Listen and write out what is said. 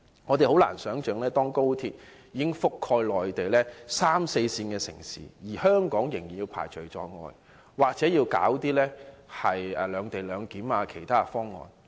我們很難想象，當高鐵已覆蓋內地的三四線城市，而香港仍被排除在外，又或是要推出"兩地兩檢"等其他方案。